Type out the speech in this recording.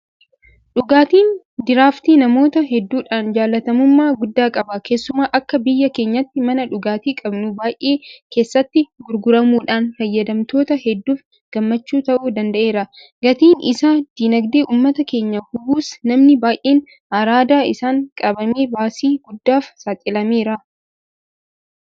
Dhugaatiin Diraaftii namoota hedduudhaan jaalatamummaa guddaa qaba. Keessumaa akka biyya keenyaatti mana dhugaatii qabnu baay'ee keessatti gurguramuudhaan fayyadamtoota hedduuf gammachuu ta'uu danda'eera. Gatiin isaa diinagdee uummata keenyaa hubuus namni baay'een araada isaan qabamee baasii guddaaf saaxilameera.